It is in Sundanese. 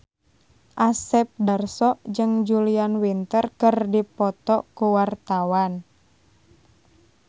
Asep Darso jeung Julia Winter keur dipoto ku wartawan